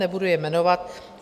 Nebudu je jmenovat.